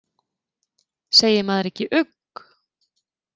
Segir maður ekki ugg?